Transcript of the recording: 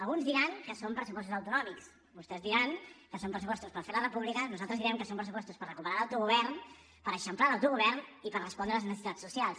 alguns diran que són pressupostos autonòmics vostès diran que són pressupostos per fer la república nosaltres direm que són pressupostos per recuperar l’autogovern per eixamplar l’autogovern i per respondre a les necessitats socials